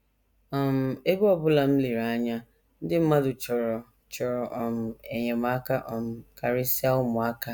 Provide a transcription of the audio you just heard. “ um Ebe ọ bụla m lere anya, ndị mmadụ chọrọ chọrọ um enyemaka um karịsịa ụmụaka